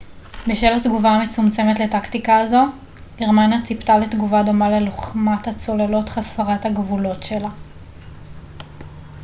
בשל התגובה המצומצמת לטקטיקה הזו גרמניה ציפתה לתגובה דומה ללוחמת הצוללות חסרת הגבולות שלה